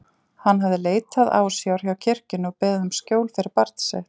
Hann hafði leitað ásjár hjá kirkjunni og beðið um skjól fyrir barn sitt.